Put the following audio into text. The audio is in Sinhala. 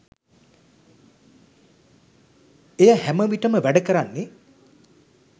එය හැමවිටම් වැඩ කරන්නේ